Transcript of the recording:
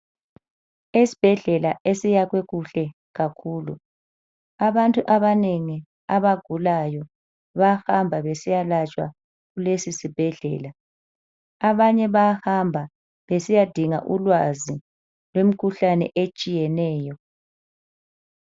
Esibhedlela esiyakhwe kuhle kakhulu. Abantu abanengi abagulayo bayahamba besiyalatshwa kulesisibhedlela. Abanye bayahamba besiyadinga ulwazi lwemikhuhlane etshiyeneyo.